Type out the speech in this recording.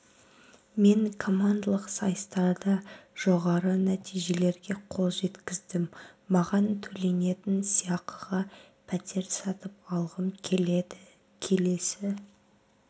мен командалық сайыстарда жоғарғы нәтижелерге қол жеткіздім маған төленетін сыйақыға пәтер сатып алғым келеді келесі